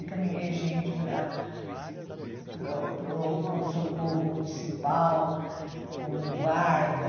Encaminhei gente para para o para o pronto-socorro municipal, como guarda.